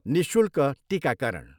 निःशूल्क टिकाकरण।